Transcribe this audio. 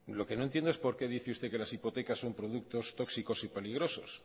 lo que no entiendo es por qué dice usted que las hipotecas son productos tóxicos y peligrosos